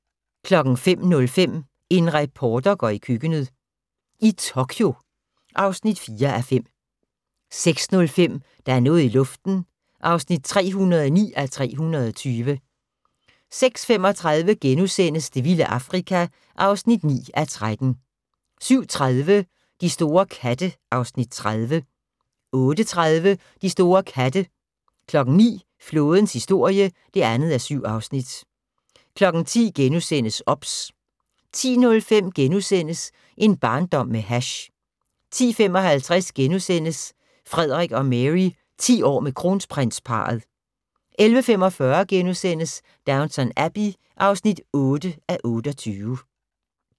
05:05: En reporter går i køkkenet - i Tokyo (4:5) 06:05: Der er noget i luften (309:320) 06:35: Det vilde Afrika (9:13)* 07:30: De store katte (Afs. 30) 08:30: De store katte 09:00: Flådens historie (2:7) 10:00: OBS * 10:05: En barndom med hash * 10:55: Frederik og Mary: 10 år med Kronprinsparret * 11:45: Downton Abbey (8:28)*